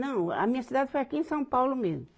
Não, a minha cidade foi aqui em São Paulo mesmo.